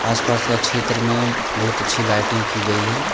आसपास का क्षेत्र में बहुत अच्छी लाइटिंग की गई है।